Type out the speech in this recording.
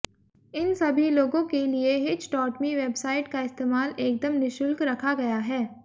इन सभी लोगों के लिए हिचडॉटमी वेबसाइट का इस्तेमाल एकदम निशुल्क रखा गया है